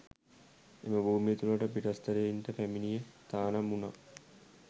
එම භූමිය තුළට පිටස්තරයින්ට පැමිණීම තහනම් උණා